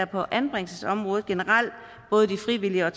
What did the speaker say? på anbringelsesområdet generelt både de frivillige og